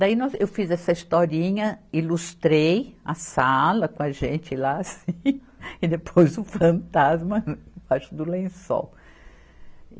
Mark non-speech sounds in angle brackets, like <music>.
Daí nós, eu fiz essa historinha, ilustrei a sala com a gente lá, assim, <laughs> e depois o fantasma embaixo do lençol.